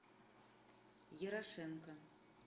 ерошенко